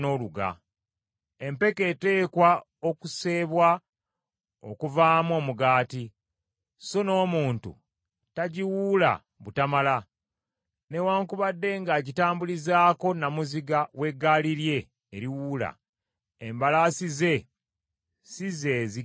Empeke eteekwa okuseebwa okuvaamu omugaati, So n’omuntu tagiwuula butamala. Newaakubadde ng’agitambulizaako nnamuziga w’eggaali lye eriwuula, Embalaasi ze si zeezigisa.